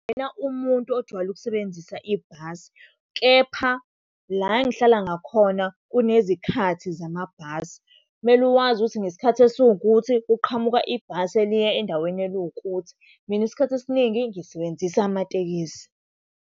Angiyena umuntu ojwayele ukusebenzisa ibhasi, kepha la engihlala ngakhona kunezikhathi zamabhasi. Kumele wazi ukuthi ngesikhathi esiwukuthi kuqhamuka ibhasi eliya endaweni eliwukuthi. Mina isikhathi esiningi ngisebenzisa amatekisi.